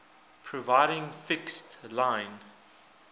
providing fixed line